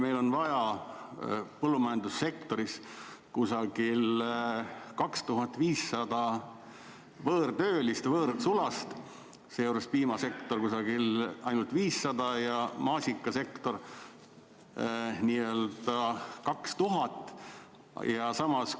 Meil on vaja põllumajandussektoris umbes 2500 võõrtöölist, võõrsulast, seejuures ainult piimasektoris 500 ringis ja maasikasektoris 2000 ringis.